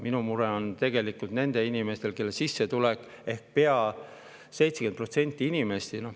Minul on mure nende inimeste pärast, kelle sissetulek, ehk pea 70% inimeste pärast.